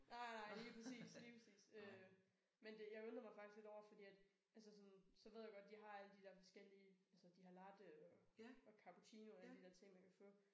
Nej nej lige præcis lige præcis øh men det jeg undrede mig faktisk lidt over fordi at altså sådan så ved jeg godt de har alle de der forskellige altså de har latte og og cappuccino og alle de der ting man kan få